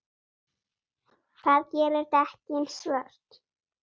Það gerir dekkin svört.